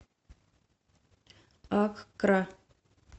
аккра